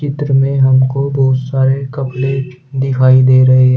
चित्र मे हमको बहोत सारे कपड़े दिखाई दे रहे हैं।